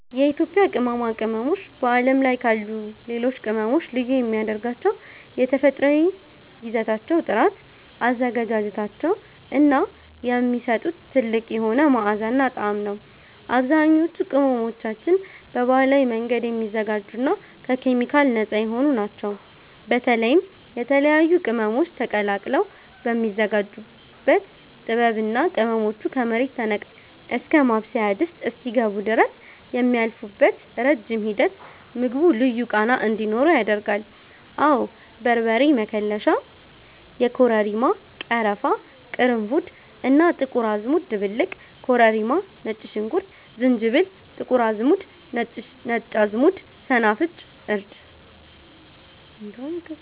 የኢትዮጵያ ቅመማ ቅመሞች በዓለም ላይ ካሉ ሌሎች ቅመሞች ልዩ የሚያደርጋቸው የተፈጥሮአዊ ይዘታቸው ጥራት፣ አዘገጃጀታቸው እና የሚሰጡት ጥልቅ የሆነ መዓዛና ጣዕም ነው። አብዛኞቹ ቅመሞቻችን በባህላዊ መንገድ የሚዘጋጁና ከኬሚካል ነፃ የሆኑ ናቸው። በተለይም የተለያዩ ቅመሞች ተቀላቅለው የሚዘጋጁበት ጥበብ እና ቅመሞቹ ከመሬት ተነቅለው እስከ ማብሰያ ድስት ውስጥ እስኪገቡ ድረስ የሚያልፉበት ረጅም ሂደት ምግቡ ልዩ ቃና እንዲኖረው ያደርጋል። አወ በርበሬ መከለሻ (የኮረሪማ፣ ቀረፋ፣ ቅርንፉድ እና ጥቁር አዝሙድ ድብልቅ) ኮረሪማ ነጭ ሽንኩርት ዝንጅብል ጥቁር አዝሙድ ነጭ አዝሙድ ሰናፍጭ እርድ